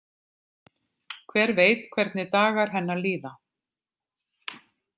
Hver veit hvernig dagar hennar líða?